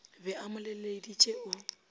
be a mo leleditše o